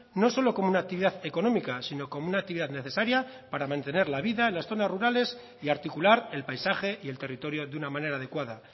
no solo como una actividad económica sino como una actividad necesaria para mantener la vida en las zonas rurales y articular el paisaje y el territorio de una manera adecuada